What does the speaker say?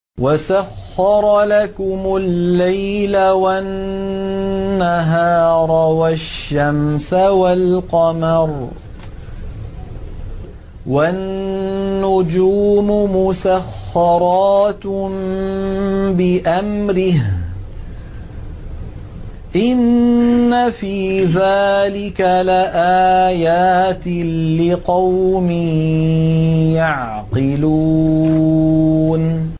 وَسَخَّرَ لَكُمُ اللَّيْلَ وَالنَّهَارَ وَالشَّمْسَ وَالْقَمَرَ ۖ وَالنُّجُومُ مُسَخَّرَاتٌ بِأَمْرِهِ ۗ إِنَّ فِي ذَٰلِكَ لَآيَاتٍ لِّقَوْمٍ يَعْقِلُونَ